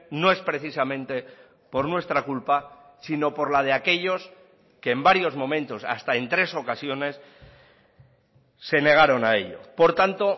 no es precisamente por nuestra culpa sino por la de aquellos que en varios momentos hasta en tres ocasiones se negaron a ello por tanto